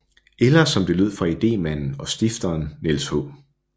Eller som det lød fra idémanden og stifteren Niels H